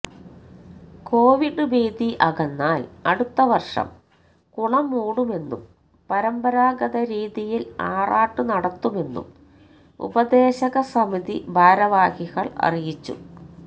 Covid ഭീതി അകന്നാൽ അടുത്ത വർഷം കുളം മൂടുമെന്നും പരമ്പരാഗത രീതിയിൽ ആറാട്ടു നടത്തുമെന്നും ഉപദേശകസമിതി ഭാരവാഹികൾ അറിയിച്ചു